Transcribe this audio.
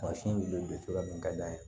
Mansin bɛ cogoya min ka d'an ye